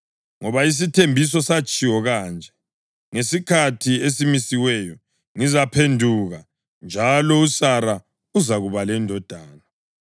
Ngoba isithembiso satshiwo kanje: “Ngesikhathi esimisiweyo ngizaphenduka, njalo uSara uzakuba lendodana.” + 9.9 UGenesisi 18.10, 14